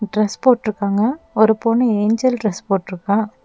Dress போட்ருக்காங்க ஒரு பொண்ணு ஏஞ்சல் டிரஸ் போட்ருக்கா.